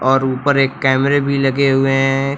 और ऊपर एक कैमरे भी लगे हुए हैं।